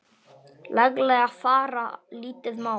laglega fara lítið má.